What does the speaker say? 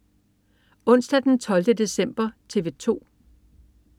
Onsdag den 12. december - TV 2: